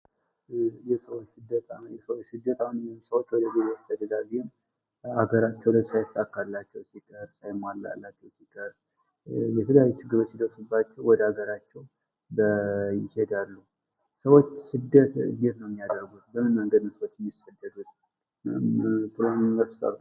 የሰው ልጅ ስደት ሰዎች በሀገራቸው ላይ ሳይሳካላቸው ሲቀር የተለያዩ ችግሮች ወደ ሀገራቸው ይሄዳሉ ሰዎች ስደት እንዴት ነው የሚያደርጉት በምን መንገድ ነው የሚሰደዱት በምን መስፈርት